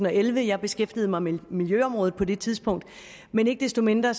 og elleve jeg beskæftigede mig med miljøområdet på det tidspunkt men ikke desto mindre